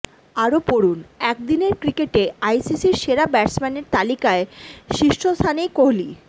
আরও পড়ুন একদিনের ক্রিকেটে আইসিসির সেরা ব্যাটসম্যানের তালিকায় শীর্ষ স্থানেই কোহলি